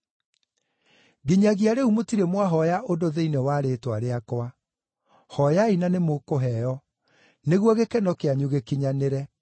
Nginyagia rĩu mũtirĩ mwahooya ũndũ thĩinĩ wa rĩĩtwa rĩakwa. Hooyai na nĩmũkũheo, nĩguo gĩkeno kĩanyu gĩkinyanĩre.